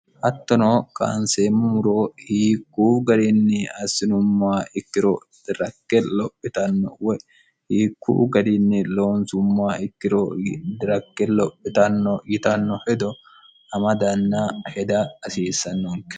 hattono kaanseemmumuro hiikkuu garinni assinummaa ikkiro dirakke lophitanno woy hiikkuu garinni loonsummaa ikkiro dirakke lophitanno yitanno hedo amadanna heda hasiissannoonke